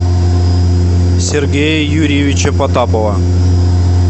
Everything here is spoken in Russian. сергея юрьевича потапова